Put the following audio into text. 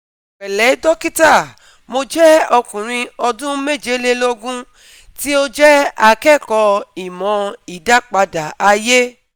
Pẹ̀lẹ́ dókítà, Mo jẹ́ ọkùnrin ọdún mejeleloogun tí ó jẹ́ akẹ́kọ̀ọ́ ìmọ̀ ìdápadà ayé